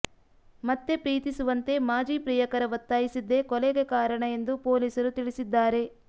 ಮತ್ತೆ ಪ್ರೀತಿಸುವಂತೆ ಮಾಜಿ ಪ್ರಿಯಕರ ಒತ್ತಾಯಿಸಿದ್ದೇ ಕೊಲೆಗೆ ಕಾರಣ ಎಂದು ಪೊಲೀಸರು ತಿಳಿಸಿದ್ದಾರೆ